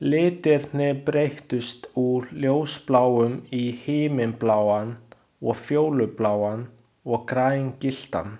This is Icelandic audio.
Litirnir breyttust úr ljósbláum í himinbláan og fjólubláan og grængylltan.